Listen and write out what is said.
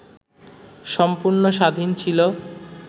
সম্পূর্ণ স্বাধীন ছিল,